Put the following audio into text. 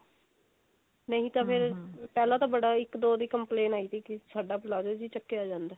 ਨਹੀਂ ਤਾਂ ਫੇਰ ਪਹਿਲਾ ਤਾਂ ਬੜਾ ਇੱਕ ਦੋ ਦੀ complain ਆਈ ਸੀ ਕਿ ਜੀ ਸਾਡਾ palazzo ਤਾਂ ਚੱਕਿਆ ਜਾਂਦਾ